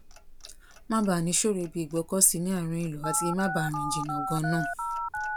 má baà níṣòro ibi ìgbọ́kọ̀sí ní àárín ìlú àti má baà rìn jìnnà gan náà